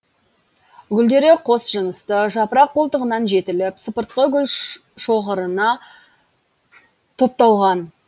гүлдері қос жынысты жапырақ қолтығынан жетіліп сыпыртқы гүлшоғырына топталған